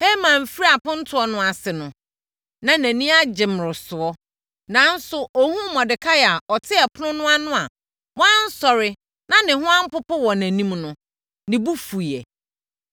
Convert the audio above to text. Haman firii apontoɔ no ase no, na nʼani agye mmorosoɔ! Nanso, ɔhunuu Mordekai a ɔte ɛpono no ano a wansɔre na ne ho ampopo wɔ nʼanim no, ne bo fuiɛ.